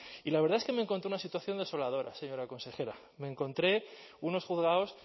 y la verdad es que me encontré una situación desoladora señora consejera me encontré unos juzgados